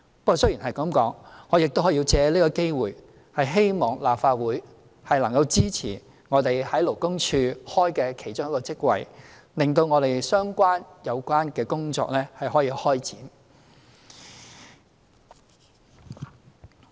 不過，話雖如此，我亦要藉此機會希望立法會能夠支持我們在勞工處開設的一個首席勞工事務主任職位，令有關工作可以開展。